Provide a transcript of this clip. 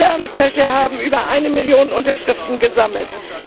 Sterneköche haben über eine Million Unterschriften gesammelt.